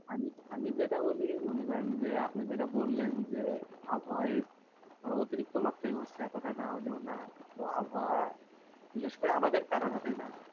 আমি আমি যেটা বলছি, মনে করেন যে আপনি যেটা বললেন যে, আবহাওয়ায় অতিরিক্ত মাত্রায় এতটা না হলেও না। তো আবহাওয়া বিশেষ করে আমাদের কারোর হাতে না।